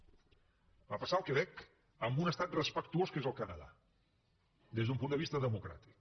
va passar al quebec amb un estat respectuós que és el canadà des d’un punt de vista democràtic